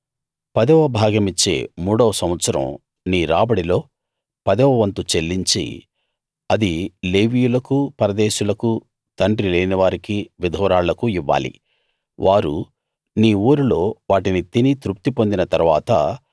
పదవ భాగమిచ్చే మూడవ సంవత్సరం నీ రాబడిలో పదవ వంతు చెల్లించి అది లేవీయులకూ పరదేశులకూ తండ్రి లేనివారికీ విధవరాళ్లకూ ఇవ్వాలి వారు నీ ఊరిలో వాటిని తిని తృప్తి పొందిన తరువాత